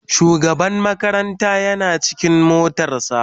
shugaban makaranta Yana cikin motar sa.